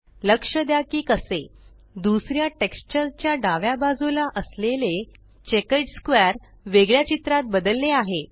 लक्ष द्या की कसे दुसऱ्या टेक्स्चर च्या डाव्या बाजूला असलेले चेकर्ड स्क्वेअर वेगळ्या चित्रात बदलले आहे